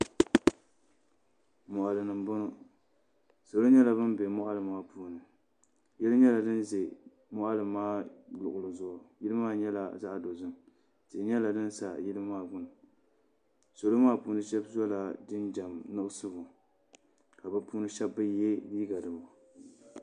silimiimpaɣa mini bihi n-ʒi duu puuni ka bɛ ʒi kuɣusi zuɣu ka paɣa maa gbubi jitaaya ka bi' yino gbubi luŋa ka